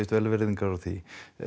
velvirðingar á því